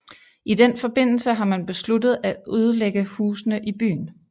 I den forbindelse har man besluttet at ødelægge husene i byen